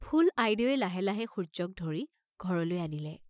ফুল আইদেৱে লাহে লাহে সূৰ্য্যক ধৰি ঘৰলৈ আনিলে।